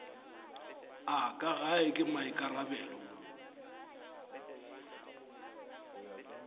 a ka gae ke maikarabelo